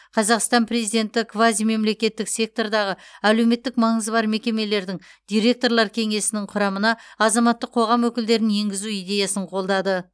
қазақстан президенті квазимемлекеттік сектордағы әлеуметтік маңызы бар мекемелердің директорлар кеңесінің құрамына азаматтық қоғам өкілдерін енгізу идеясын қолдады